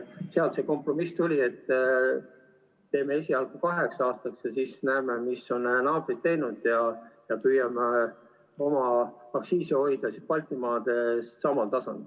Sealt see kompromiss tuli, et teeme esialgu kaheks aastaks ja siis näeme, mis on naabrid teinud, ja püüame aktsiisid hoida Baltimaades samal tasemel.